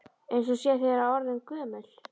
Eins og hún sé þegar orðin gömul.